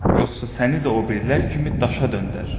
Yoxsa səni də o birilər kimi daşa döndərərəm.